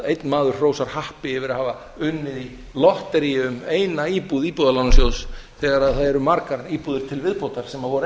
einn maður hrósar happi yfir að hafa unnið í lotteríi um eina íbúð íbúðalánasjóðs þegar það eru margar íbúðir til viðbótar sem voru